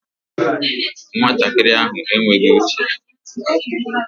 Nwatakịrị ahụ enweghị uche